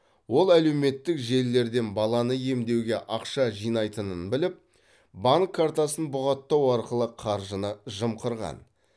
ол әлеуметтік желілерден баланы емдеуге ақша жинайтынын біліп банк картасын бұғаттау арқылы қаржыны жымқырған